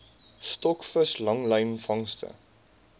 stokvis langlyn vangste